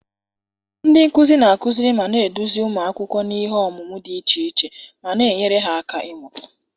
Ndị nkuzi na-akụziri ma na-eduzi ụmụ akwụkwọ n'ihe ọmụmụ dị iche iche ma na-enyere ha aka ịmụta.